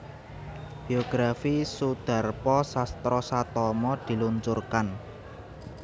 Biografi Soedarpo Sastrosatomo Diluncurkan